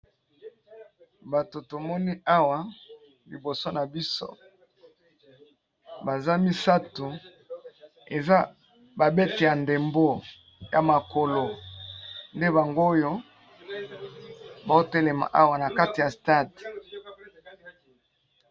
Bato tomoni awa liboso na biso baza misato eza ba beti ya ndembo ya makolo, nde bango oyo ba otelema awa na kati ya stade.